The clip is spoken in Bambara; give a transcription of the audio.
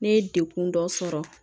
Ne ye dekun dɔ sɔrɔ